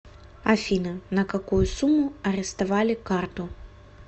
афина на какую сумму арестовали карту